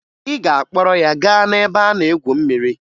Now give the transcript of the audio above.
Ị ga-akpọrọ ya gaa n'ebe a na-egwu mmiri!